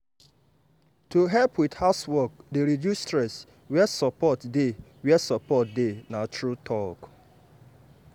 to help with housework dey reduce stress where support dey where support dey na true talk.